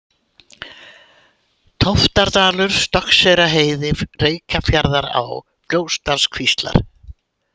Tóftardalur, Stokkseyrarheiði, Reykjarfjarðará, Fljótsdalskvíslar